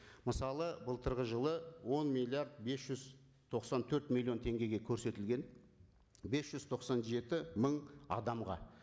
мысалы былтырғы жылы он миллиард бес жүз тоқсан төрт миллион теңгеге көрсетілген бес жүз тоқсан жеті мың адамға